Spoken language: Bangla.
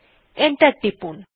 এন্টার টিপুন